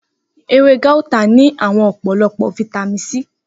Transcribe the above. Ewé guata ní àwọn ọ̀pọ̀lọpọ̀ fáítámíìnì